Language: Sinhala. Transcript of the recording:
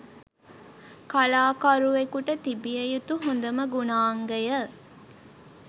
කලාකරුවෙකුට තිබිය යුතු හොඳම ගුණාංගය